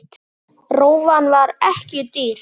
Rófan var ekki dýr.